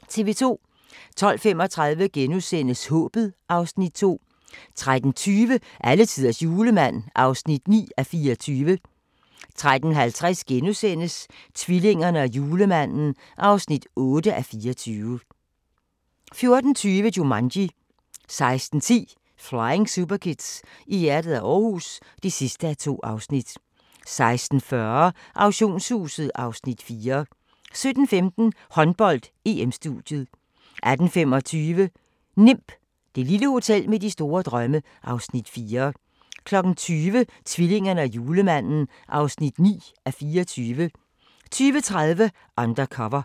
12:35: Håbet (Afs. 2)* 13:20: Alletiders julemand (9:24) 13:50: Tvillingerne og julemanden (8:24)* 14:20: Jumanji * 16:10: Flying Superkids: I hjertet af Aarhus (2:2) 16:40: Auktionshuset (Afs. 4) 17:15: Håndbold: EM-studiet 18:25: NIMB - det lille hotel med store drømme (Afs. 4) 20:00: Tvillingerne og julemanden (9:24) 20:30: Undercover